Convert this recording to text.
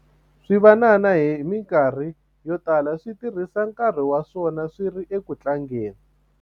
swivanana hi mikarhi yo tala swi tirhisa nkarhi wa swona swi ri eku tlangeni